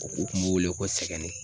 U kun b'u wele ko sɛgɛnnen.